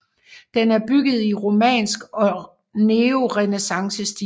Den er bygget i romansk og neorenæssancestil